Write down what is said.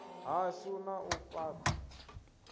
hashu na u fhat a